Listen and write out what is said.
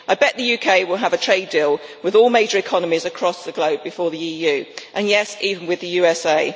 I bet the UK will have a trade deal with all major economies across the globe before the EU and yes, even with the USA.